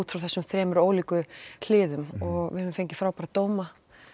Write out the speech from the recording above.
frá þessum þremur ólíku hliðum við höfum fengið frábæra dóma